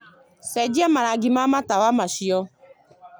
ũcenjie marangi ma matawa macio